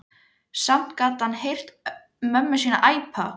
Samt gat hann heyrt mömmu sína æpa.